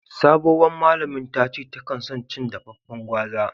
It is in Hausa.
Sabowan malamin tace ta kan son cin dafafen gwaza.